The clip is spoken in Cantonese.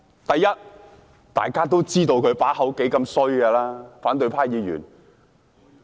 第一，大家都知道他嘴裏說不出好話來，反對派議員......